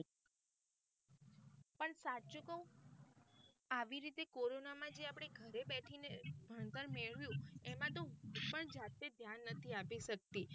પણ સાચું કૌ આવી રીતે કોરોના માં જે આપડે ઘરે બેઠીને ભણતર મેળવ્યું એમાં તો હું પણ જાતે ધ્યાન આપી શક્તિ નથી.